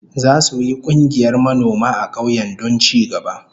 Zasu yi kungiyar manoma a kauyen don ci gaba